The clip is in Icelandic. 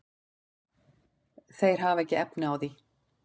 Þeir hafa ekki efni á því.